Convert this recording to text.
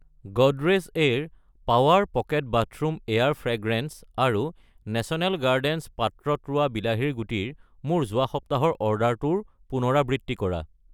Godrej aer power pocket bathroom air fragrance আৰু national gardens পাত্ৰত ৰোৱা বিলাহীৰ গুটি ৰ মোৰ যোৱা সপ্তাহৰ অৰ্ডাৰটোৰ পুনৰাবৃত্তি কৰা।